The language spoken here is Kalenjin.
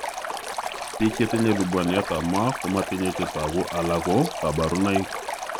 Biik chechang' chetinye lubwaniat ab moo komatinye chetogu alako kaborunoik